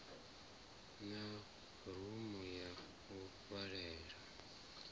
na rumu ya u vhalela